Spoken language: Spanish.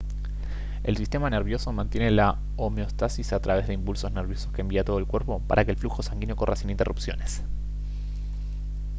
el sistema nervioso mantiene la homeostasis a través de impulsos nerviosos que envía a todo el cuerpo para que el flujo sanguíneo corra sin interrupciones